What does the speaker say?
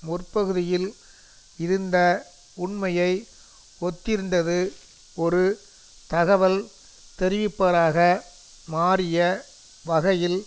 முற்பகுதியில் இருந்த உண்மையை ஒத்திருந்தது ஒரு தகவல் தெரிவிப்பவராக மாறிய வகையில்